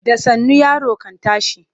Da sannu yaro kan tashi.